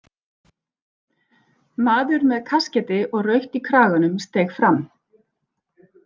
Maður með kaskeiti og rautt í kraganum steig fram.